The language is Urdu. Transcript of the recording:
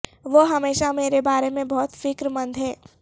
وہ ہمیشہ میرے بارے میں بہت فکر مند ہے